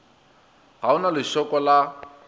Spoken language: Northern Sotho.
ga o na lešoko la